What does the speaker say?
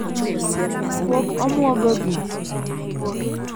Pok omwogo gi